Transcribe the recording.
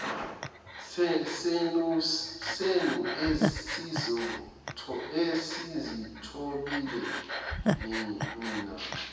senu esizithobile nina